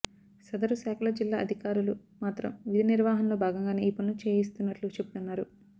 సదరు శాఖల జిల్లా అధికారులు మాత్రం విధి నిర్వహణలో భాగంగానే ఈ పనులు చేయిస్తున్నట్లు చెబుతున్నారు